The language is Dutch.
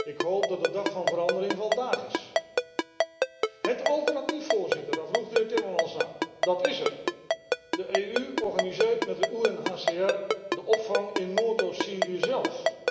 Ik hoop dat de dag van verandering vandaag is. Het alternatief, Voorzitter, daar vroeg de heer Timmermans naar, dat is er de EU organiseert met de UNHCR de opvang in Noord Oost Syrië zelf.